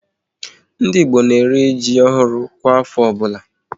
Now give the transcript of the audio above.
Ndị Igbo na eri ji ọhụrụ kwa afọ ọbụla